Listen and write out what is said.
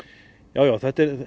já já